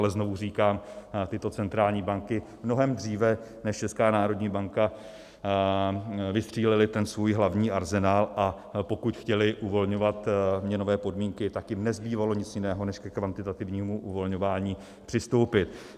Ale znovu říkám, tyto centrální banky mnohem dříve než Česká národní banka vystřílely ten svůj hlavní arzenál, a pokud chtěly uvolňovat měnové podmínky, tak jim nezbývalo nic jiného než ke kvantitativnímu uvolňování přistoupit.